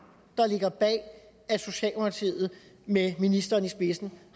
der ligger bag at socialdemokratiet med ministeren i spidsen